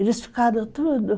Eles ficaram tudo.